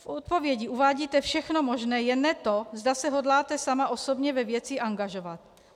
V odpovědi uvádíte všechno možné, jen ne to, zda se hodláte sama osobně ve věci angažovat.